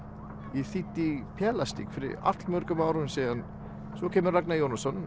ég þýddi pelastikk fyrir all mörgum árum síðan svo kemur Ragnar Jónasson